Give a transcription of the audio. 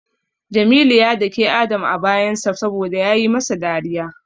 Jamilu ya dake Adam a bayansa saboda yayi masa dariya.